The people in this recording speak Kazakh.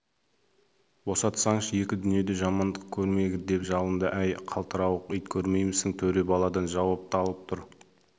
босатсаңшы екі дүниеде жамандық көрмегір деп жалынды әй қалтырауық ит көрмеймісің төре баладан жауап алып тұр